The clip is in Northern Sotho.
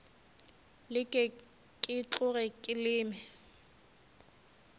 leke ke tloge ke leme